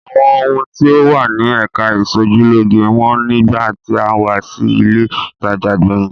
Àwọn ohun tí ó wà ní ẹ̀ka ìṣojúlóge wọ́n nígbà tí a wá sí ilé-ìtajà gbẹ̀yìn.